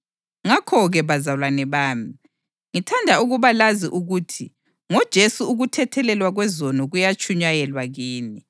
Ngakho-ke, bazalwane bami, ngithanda ukuba lazi ukuthi ngoJesu ukuthethelelwa kwezono kuyatshunyayelwa kini.